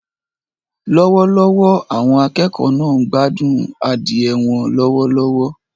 Lọ́wọ́lọ́wọ́, àwọn akẹ́kọ̀ọ́ náà ń gbádùn adìẹ wọn lọ́wọ́lọ́wọ́.